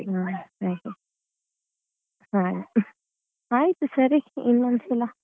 ಹ್ಮ್ ಸರಿ ಆಯ್ತು ಸರಿ ಇನ್ನೊಂದು ಸಲ.